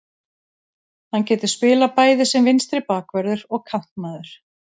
Hann getur spilað bæði sem vinstri bakvörður og kantmaður.